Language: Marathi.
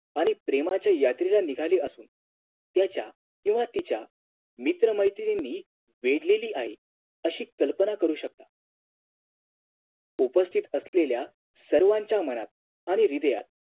आणि प्रेमाच्या यात्रेला निघालेली असून त्याच्या किंव्हा तिच्या मित्रमैत्रिणींनी वेढलेली आहे अशी कल्पना करू शकता उपस्तित असलेल्या सर्वांच्या मनात आणि ह्रिदयात